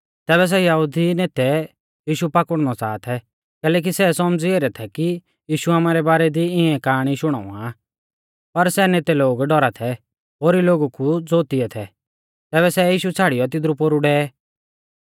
तैबै सै यहुदी नेतै यीशु पाकुड़नौ च़ाहा थै कैलैकि सै सौमझ़ी ऐरै थै कि यीशु आमारै बारै दी इऐं काआणी शुणावा आ पर सै नेते लोग डौरा थै ओरी लोगु कु ज़ो तिऐ थै तैबै सै यीशु छ़ाड़ियौ तिदरु पोरु डेऐ